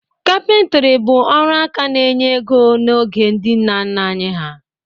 Kapịntri bụ ọrụ aka na-enye ego n'oge ndị nna nna anyị ha.